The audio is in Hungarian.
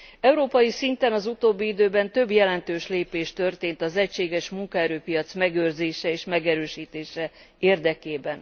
Európai szinten az utóbbi időben több jelentős lépés történt az egységes munkaerőpiac megőrzése és megerősítése érdekében.